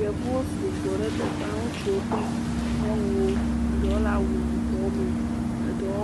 Yevuwo su gbɔ ɖe teƒa, ŋutsuwokple nyɔnuwo. Eɖɔ le awu yibɔ me, eɖɔo